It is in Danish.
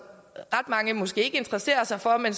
ret mange måske ikke interesserer sig for men